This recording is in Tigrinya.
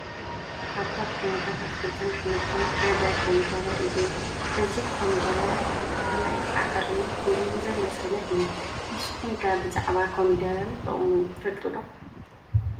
ካብቶም ዓይነታት ኣትክልትን ኣሕምልትን ሓደ ኮሚደረ እዩ፡፡ እዚ ኮሚደረ ማእኸላይ ኣዕርዩ ውን ዘይበሰለ እዩ፡፡ ንስኹም ከ ብዛዕባ ኮሚደረን ጥቕሙን ትፈልጡ ዶ?